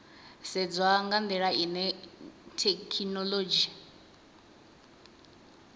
sedzwa nga ndila ine thekhinolodzhi